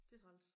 Det er træls